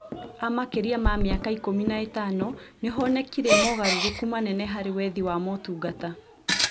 A makĩria ma mĩaka ikũmi na ĩtano nĩhonekire mogarũrũku manene harĩ wethi wa motungata